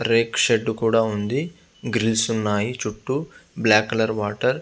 రేకు షెడ్ కూడా ఉంది గ్రిల్స్ ఉన్నాయి చుట్టూ బ్లాక్ కలర్ వాటర్ --